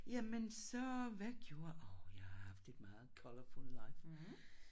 Jamen så hvad gjorde åh jeg har haft et meget colourful life